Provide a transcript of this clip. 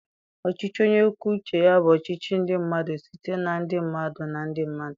Ọchịchị onye kwuo uche ya bụ ọchịchị ndị mmadụ site na ndị mmadụ na ndị mmadụ.